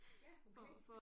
Ja okay